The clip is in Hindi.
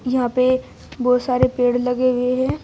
यहां पे एक बहुत सारे पेड़ लगे हुए हैं।